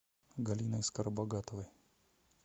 галиной скоробогатовой